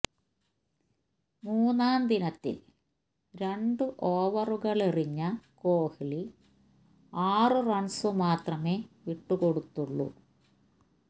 മൂന്നാം ദിനത്തില് രണ്ടു ഓവറുകളെറിഞ്ഞ കോഹ്ലി ആറ് റണ്സു മാത്രമേ വിട്ടു കൊടുത്തുള്ളൂ